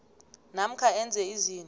namkha enze izinto